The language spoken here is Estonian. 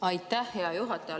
Aitäh, hea juhataja!